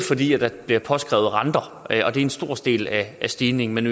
fordi der bliver påskrevet renter og det er en stor del af stigningen men